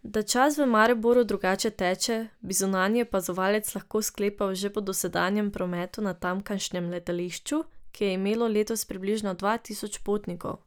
Da čas v Mariboru drugače teče, bi zunanji opazovalec lahko sklepal že po dosedanjem prometu na tamkajšnjem letališču, ki je imelo letos približno dva tisoč potnikov.